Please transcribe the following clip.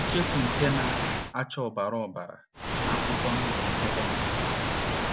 Icheoku nke na - acha ọbara ọbara na akwụkwọ ndụ akwụkwọ ndụ.